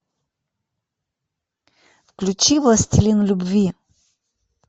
включи властелин любви